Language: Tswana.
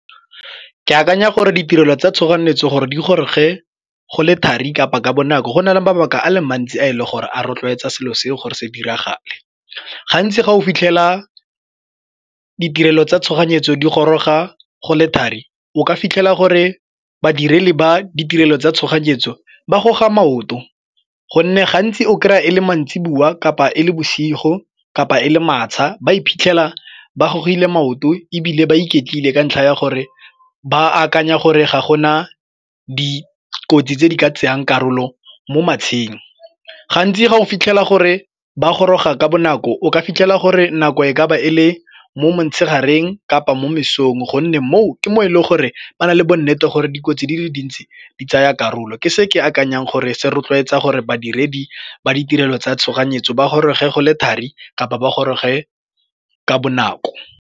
Ke akanya gore ditirelo tsa tshoganyetso gore di goroge go le thari kapa ka bonako go na le mabaka a le mantsi a e le gore a rotloetsa selo seo gore se diragale. Gantsi ga o fitlhela ditirelo tsa tshoganyetso di goroga go le thari o ka fitlhela gore badiri le ba ditirelo tsa tshoganyetso ba goga maoto, gonne gantsi o kry-a e le mantsiboa kapa e le bosigo kapa e le matsba ba iphitlhela ba gogile maoto ebile ba iketlile ka ntlha ya gore ba akanya gore ga gona dikotsi tse di ka tsayang karolo mo matsheng. Gantsi ga o fitlhela gore ba goroga ka bonako ka o ka fitlhela gore nako e ka ba e le mo motshegareng kapa mo mesong gonne moo ke mo e leng gore ba na le bonnete gore dikotsi di le dintsi di tsaya karolo ke se ke akanyang gore se rotloetsa gore badiredi ba ditirelo tsa tshoganyetso ba goroge go le thari kapa ba goroge ka bonako.